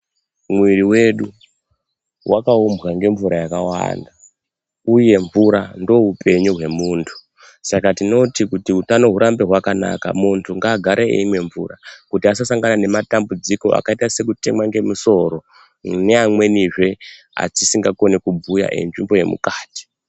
Muiri wedu wakaumbwa ngemvura yakawanda. Uye mvura ndoupenyu hwemuntu. Saka tinoti, kuti utano hurambe hwakanaka, muntu ngaagare eimwa mvura kuti asasangana nematambudziko akaita sekutemwa ngemusoro neamwenizve atisingakoni kubhuya enzvimbo yemukati.